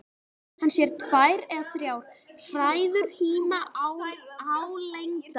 Hann sér tvær eða þrjár hræður híma álengdar.